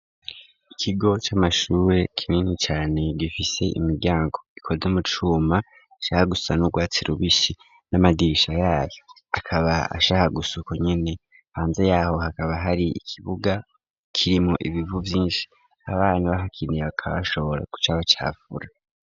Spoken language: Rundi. Ikigo c'amashure kinini cane, gifise imiryango ikozwe mu cuma ,ishaka gusa n'urwatsi rubisi, n'amadirisha yayo akaba ashaka gusukonyene ,hanze yaho hakaba hari ikibuga kirimwo ibivu vyinshi ,Abana bahakiniye bakaba bashobora kucabacafura.